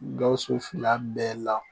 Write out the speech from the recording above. Gawusu fila bɛɛ la